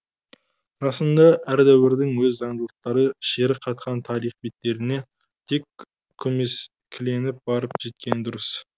расында әр дәуірдің өз заңдылықтары шері қатқан тарих беттеріне тек көмескіленіп барып жеткені дұрыс